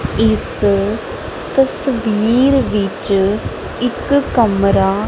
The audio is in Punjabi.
ਇੱਸ ਤਸਵੀਰ ਵਿੱਚ ਇੱਕ ਕਮਰਾ --